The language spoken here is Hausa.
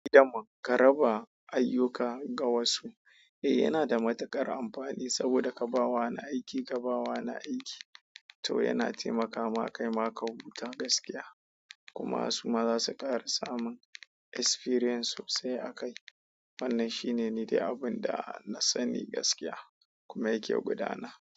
Daman ka raba ayyuka ga wasu, eh yana da matuƙar amfani saboda ka ba wa na aiki, ka ba wa na aiki. To yana taimakama kai ma ka huta gaskiya kuma su ma za su ƙara samun experience sosai a kai. Wannan shi ne niɗai abun da na sani gaskiya kuma yake gudana.